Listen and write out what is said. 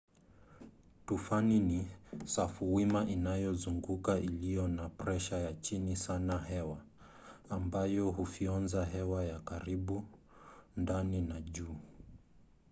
tufani ni safuwima inayozunguka iliyo na presha ya chini sana ya hewa ambayo hufyonza hewa ya karibu ndani na juu